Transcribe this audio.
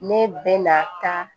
Ne bɛ na taa